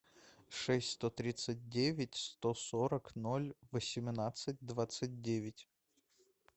шесть сто тридцать девять сто сорок ноль восемнадцать двадцать девять